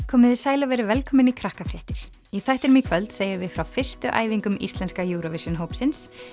komiði sæl og verið velkomin í í þættinum í kvöld segjum við frá fyrstu æfingum íslenska Eurovision hópsins